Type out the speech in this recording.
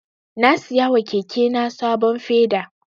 Na siya wa keke na sabon feda.